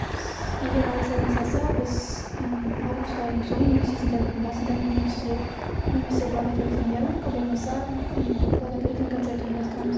егер алла сәтін салса біз м август айының соңы немесе сентябрьдің басында мүмкін сізге немесе благотворительная ярмарка болмаса м благотворительный концерт ұйымдастырамыз